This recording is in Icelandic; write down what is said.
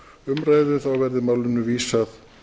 umræðu verði málinu vísað